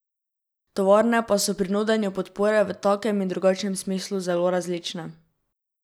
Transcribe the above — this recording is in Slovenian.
Tovarne pa so pri nudenju podpore v takem in drugačnem smislu zelo različne.